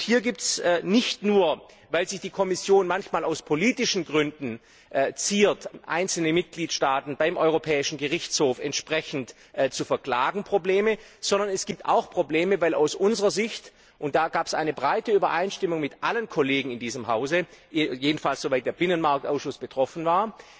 Hier gibt es nicht nur, weil sich die Kommission manchmal aus politischen Gründen ziert, einzelne Mitgliedstaaten beim Europäischen Gerichtshof entsprechend zu verklagen, Probleme, sondern es gibt auch Probleme, weil es aus unserer Sicht und da gab es eine breite Übereinstimmung mit allen Kollegen in diesem Hause, jedenfalls soweit der Binnenmarktausschuss betroffen war